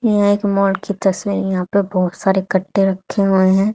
यह एक मॉल की तस्वीर यहां पे बहोत सारे कट्टे रखे हुए हैं।